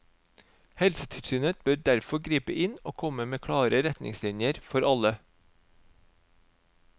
Helsetilsynet bør derfor gripe inn og komme med klare retningslinjer for alle.